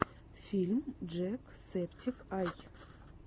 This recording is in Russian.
фильм джек септик ай